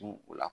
o la